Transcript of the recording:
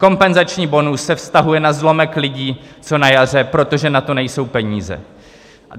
Kompenzační bonus se vztahuje na zlomek lidí, co na jaře, protože na to nejsou peníze.